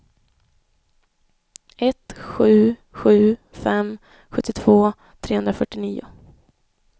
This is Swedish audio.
ett sju sju fem sjuttiotvå trehundrafyrtionio